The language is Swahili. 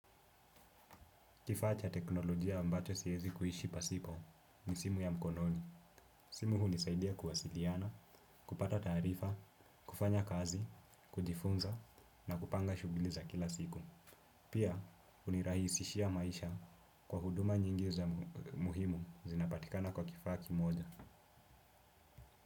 Kifaa cha teknolojia ambacho siwezi kuishi pasipo ni simu ya mkononi. Simu hunisaidia kuwasiliana, kupata taarifa, kufanya kazi, kujifunza na kupanga shughuli za kila siku. Pia, hunirahisishia maisha kwa huduma nyingi za muhimu zinapatikana kwa kifaa kimoja.